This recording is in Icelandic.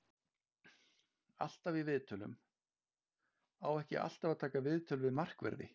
Alltaf í viðtölum: Á ekki alltaf að taka viðtöl við markverði?